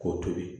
K'o tobi